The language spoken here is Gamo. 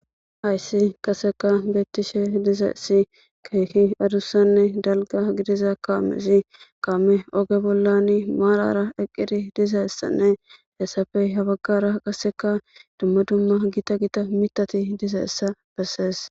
hayssi qaseka beettishe dizeessi keeki adussanne dalga gidiza kaamesi kaame oge bollani maalara eqqiri dizeessanne hessafey habaggara qaseka dumma dumma gita gita mitati dizeessa bessees